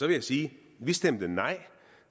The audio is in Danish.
jeg sige vi stemte nej